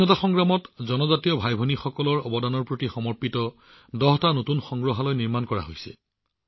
স্বাধীনতা সংগ্ৰামত জনজাতীয় ভাইভনীসকলৰ অৱদানৰ প্ৰতি সমৰ্পিত দহটা নতুন সংগ্ৰহালয় স্থাপন কৰা হৈছে